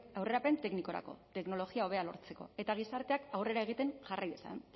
aurrerapen teknikorako teknologia hobea lortzeko eta gizarteak aurrera egiten jarrai dezan